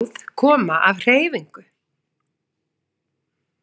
Öll hljóð koma af hreyfingu